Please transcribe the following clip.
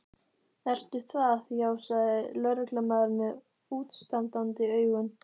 Ertu það, já sagði lögreglumaðurinn með útstandandi augun.